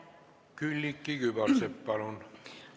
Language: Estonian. Külliki Kübarsepp, palun!